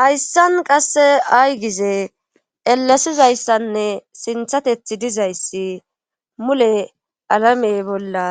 Hayssan qasse aygize elasizayssanne sinthatethi dizayssi mule alamey bolla